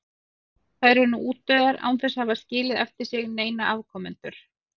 Þær eru nú útdauða án þess að hafa skilið eftir sig neina afkomendur.